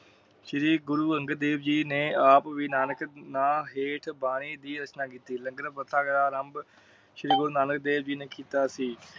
ਸ਼੍ਰੀ ਗੁਰੂ ਅੰਗਦ ਦੇਵ ਜੀ ਨੇ ਆਪ ਵੀ ਨਾਨਕ ਨਾ ਹੇਠ ਬਾਣੀ ਦੀ ਰਚਨਾ ਕੀਤੀ। ਲੰਗਰ ਬਰਤਾਯਾ ਗਯਾ ਆਰੰਬ ਸ਼੍ਰੀ ਗੁਰੂ ਨਾਨਕ ਦੇਵ ਜੀ ਨੇ ਕੀਤਾ ਸੀ।